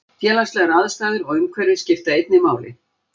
Félagslegar aðstæður og umhverfi skipta einnig máli.